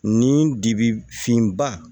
Ni dibi finba